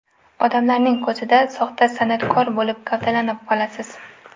Odamlarning ko‘zida soxta san’atkor bo‘lib gavdalanib qolasiz.